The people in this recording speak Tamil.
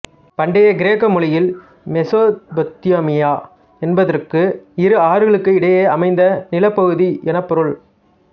பண்டைய கிரேக்க மொழியில் மெசொப்பொத்தேமியா என்பதற்கு இரு ஆறுகளுக்கு இடையே அமைந்த நிலப்பகுதி எனப்பொருள்